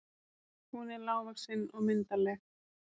Hún er lágvaxin og myndarleg.